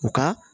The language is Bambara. U ka